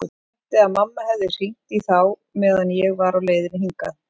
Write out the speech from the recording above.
Ætla mætti að mamma hefði hringt í þá meðan ég var á leiðinni hingað.